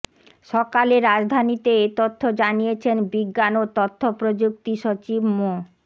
সকালে রাজধানীতে এ তথ্য জানিয়েছেন বিজ্ঞান ও তথ্য প্রযুক্তি সচিব মো